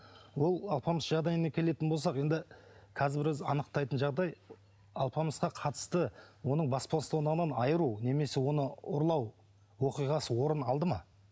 ол алпамыс жағдайына келетін болсақ енді қазір біраз анықтайтын жағдай алпамысқа қатысты оның бас бостандығынан айыру немесе оны ұрлау оқиғасы орын алды ма